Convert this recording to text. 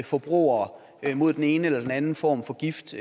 forbrugere mod den ene eller den anden form for gift